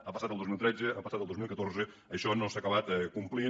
ha passat el dos mil tretze ha passat el dos mil catorze i això no s’ha acabat complint